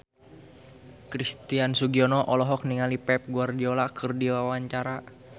Christian Sugiono olohok ningali Pep Guardiola keur diwawancara